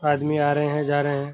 आदमी आ रहे हैं जा रहे हैं।